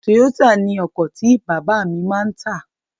Toyota ni ọkọ̀ tí bàbá mi máa tà.